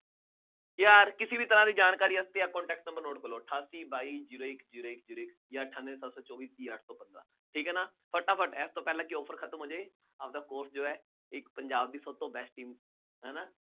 ਜੇ ਹਰ ਕਿਸੇ ਵੀ ਤਰ੍ਹਾਂ ਦੀ ਜਾਣਕਾਰੀ ਵਾਸਤੇ ਆਹ contact number ਕਰੋ ਅਠਾਸੀ ਬਾਈ zero ਇੱਕ zero ਇੱਕ zero ਇੱਕ, ਜਾਂ ਅਠਾਨਵੇਂ ਪੰਜ ਸੌ ਛਪੰਜ਼ਾ ਠੀਕ ਹੈ ਨਾ, ਫਟਾਫਟ ਇਸ ਤੋਂ ਪਹਿਲਾਂ ਕਿ offer ਖਤਮ ਹੋ ਜਾਏ, ਆਪਦਾ ਫੋਨ ਜੋ ਹੈ ਇੱਕ ਪੰਜਾਬ ਦੀ ਸਭ ਤੋਂ ਪਹਿਲੀ ਹੈ ਨਾ